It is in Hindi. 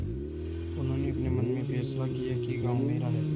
उन्होंने अपने मन में फैसला किया कि गॉँव मेरा है